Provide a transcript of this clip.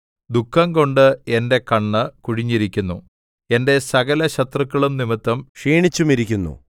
ദുഃഖംകൊണ്ട് എന്റെ കണ്ണ് കുഴിഞ്ഞിരിക്കുന്നു എന്റെ സകലശത്രുക്കളും നിമിത്തം ക്ഷീണിച്ചുമിരിക്കുന്നു